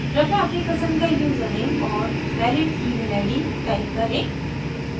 कृपया अपनी पसंद का यूज़रनेम और valid email id type करें